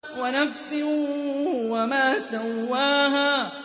وَنَفْسٍ وَمَا سَوَّاهَا